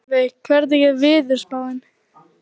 Laufey, hvernig er veðurspáin?